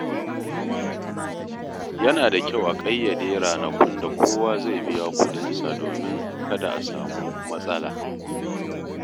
Yana da kyau a ƙayyade ranakun da kowa zai biya kuɗinsa domin kada a samu matsala.